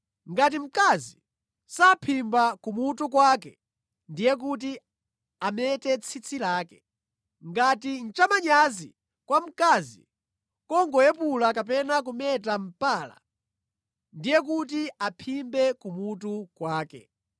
Ngati mkazi saphimba kumutu kwake, ndiye kuti amete tsitsi lake. Ngati nʼchamanyazi kwa mkazi kungoyepula kapena kumeta mpala, ndiye kuti aphimbe kumutu kwake.